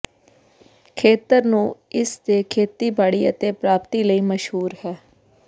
ਖੇਤਰ ਨੂੰ ਇਸ ਦੇ ਖੇਤੀਬਾੜੀ ਅਤੇ ਪ੍ਰਾਪਤੀ ਲਈ ਮਸ਼ਹੂਰ ਹੈ